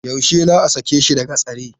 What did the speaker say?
Yaushe za a sake shi daga tsare?